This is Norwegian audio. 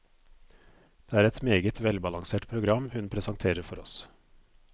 Det er et meget velbalansert program hun presenterer for oss.